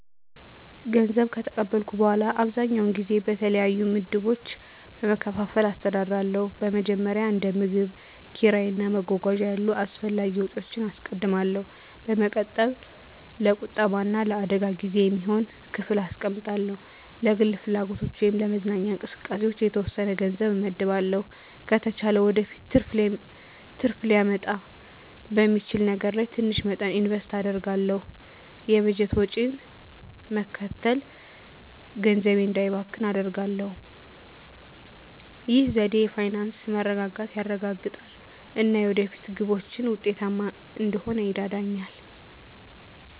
ገንዘብ ከተቀበልኩ በኋላ, አብዛኛውን ጊዜ በተለያዩ ምድቦች በመከፋፈል አስተዳድራለሁ. በመጀመሪያ፣ እንደ ምግብ፣ ኪራይ እና መጓጓዣ ያሉ አስፈላጊ ወጪዎችን አስቀድማለሁ። በመቀጠል፣ ለቁጠባ እና ለአደጋ ጊዜ የሚሆን ክፍል አስቀምጣለሁ። ለግል ፍላጎቶች ወይም ለመዝናኛ እንቅስቃሴዎች የተወሰነ ገንዘብ እመድባለሁ። ከተቻለ ወደፊት ትርፍ ሊያመጣ በሚችል ነገር ላይ ትንሽ መጠን ኢንቨስት አደርጋለሁ። የበጀት ወጪን መከተል ገንዘቤ እንዳይባክን አደርጋሁ። ይህ ዘዴ የፋይናንስ መረጋጋትን ያረጋግጣል እና የወደፊት ግቦችን ውጤታማ እንድሆን ይረዳኛል.